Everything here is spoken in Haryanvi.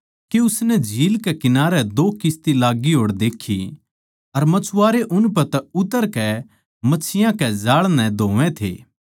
के उसनै झील कै किनारै दो किस्ती लाग्गी होड़ देक्खी लखाओ अर मछुआरे उनपै तै उतरकै मच्छियाँ के जाळ नै धोवै थे